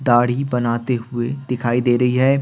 दाढ़ी बनाते हुए दिखाई दे रही है।